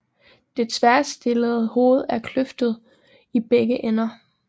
Det tværstillede hoved er kløftet i begge ender